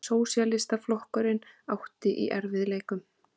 Sósíalistaflokkurinn átti í erfiðleikum.